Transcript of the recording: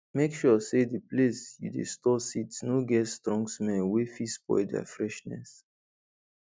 make sure say the place you dey store seeds no get strong smell wey fit spoil their freshness